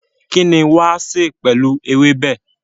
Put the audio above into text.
kín ni wàá sè pẹ̀lú ewébẹ̀?